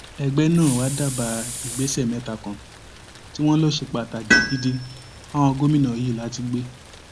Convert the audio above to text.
ẹgbẹ náà wàá dábàá ìgbésẹ mẹta kan tí wọn lọ ṣe pàtàkì gidi fáwọn gómìnà yìí láti gbé